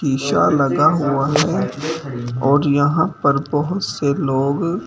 शीशा का लगा हुआ है और यहां पे बहुत से लोग--